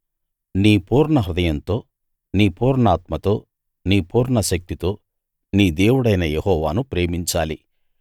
నీ పూర్ణహృదయంతో నీ పూర్ణాత్మతో నీ పూర్ణశక్తితో నీ దేవుడైన యెహోవాను ప్రేమించాలి